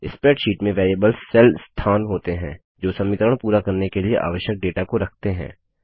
spreadsheet में variables cell स्थान होते हैं जो समीकरण पूरा करने के लिए आवश्यक डेटा को रखते हैं